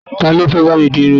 Talọ́ fẹ́ bá mi di irun mi?